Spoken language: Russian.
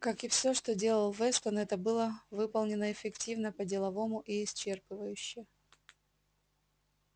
как и всё что делал вестон это было выполнено эффективно по-деловому и исчерпывающе